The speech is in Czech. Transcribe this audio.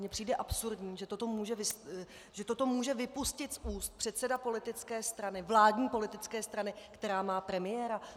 Mně přijde absurdní, že toto může vypustit z úst předseda politické strany - vládní politické strany - která má premiéra.